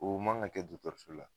O man ga kɛ dɔtɔrɔso la